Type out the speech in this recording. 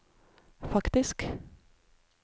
faktisk